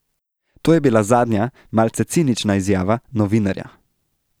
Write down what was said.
To je bila zadnja, malce cinična izjava, novinarja.